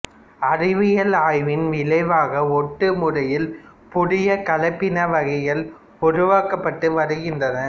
அறிவியல் ஆய்வின் விளைவாக ஒட்டு முறையில் புதிய கலப்பின வகைகள் உருவாக்கப்பட்டு வருகின்றன